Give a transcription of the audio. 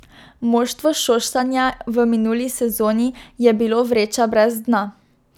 Moštvo Šoštanja v minuli sezoni je bilo vreča brez dna.